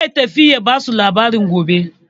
Zai tafi ya ba su labari gobe.